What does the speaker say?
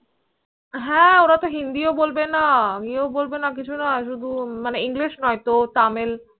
হ্য়াঁ ওরা তো Hindi বলবে না এয়ে ও বলবে না কিছু না শুধু English নয় তো Tamil